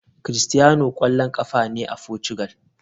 Cristiano kwallon kafa ne a Portugal.